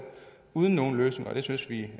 uden nogen løsning og det synes vi